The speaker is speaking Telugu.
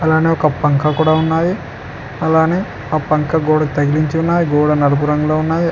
అలానే ఒక పంక కూడా ఉన్నాది అలానే ఆ పంక గోడకి తగిలించి ఉన్నాది గోడ నలుపు రంగులో ఉన్నాది.